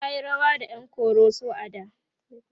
tayi rawa da ƴan koroso a da